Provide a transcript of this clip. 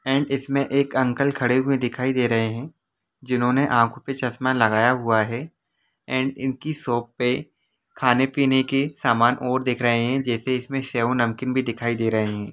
And इसमें एक uncle खड़े हुए दिखाई दे रहे हैं जिन्होंने आंखों के चश्मा लगाया हुआ हैएंड उनकी शॉप पर खाने-पीने की समान और देख रहे हैं जैसे इसमें से नमकीन भी दिखाई दे रहे हैं।